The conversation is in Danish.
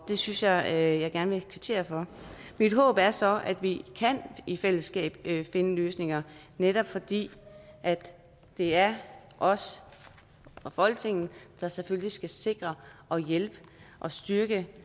synes jeg at jeg gerne vil kvittere for mit håb er så at vi i fællesskab kan finde løsninger netop fordi det er os folketinget der selvfølgelig skal sikre og hjælpe og styrke